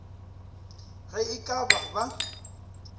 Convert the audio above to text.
ge e ka ba ba